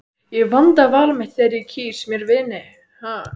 Ég vanda val mitt þegar ég kýs mér vini.